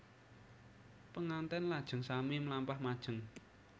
Penganten lajeng sami mlampah majeng